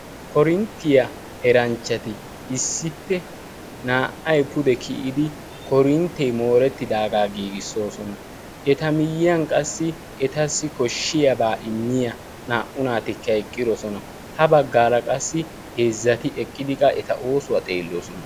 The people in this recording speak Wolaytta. korinttiyaa eranchchati issippe naa''ay pude kiyidi korinttee moorettidaagaa giigissoosona eta miyyiyan qassi etassi koshshiyaabaa immiya naa''u naatikka eqqidosona ha baggaala qassi heezzati eqqidi qa eta oosuwaa xeelloosona